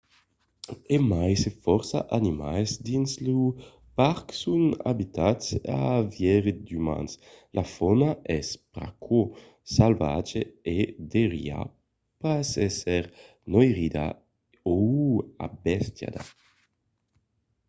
e mai se fòrça animals dins lo parc son abituats a veire d’umans la fauna es pr’aquò salvatja e deuriá pas èsser noirida o embestiada